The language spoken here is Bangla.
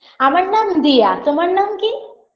আমার নাম দিয়া তোমার নাম কি